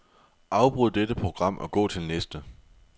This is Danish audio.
Afbryd dette program og gå til næste.